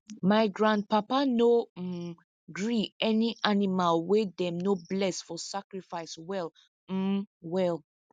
my grandpapa no um gree any animal wey them no bless for sacrifice well um well